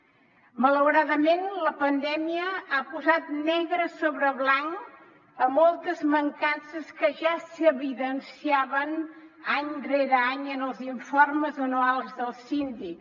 malauradament la pandèmia ha posat negre sobre blanc moltes mancances que ja s’evidenciaven any rere any en els informes anuals del síndic